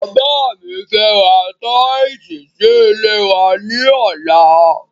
Bàbá mi fẹ́ ra tíìsì sí ilé wa ní ọlá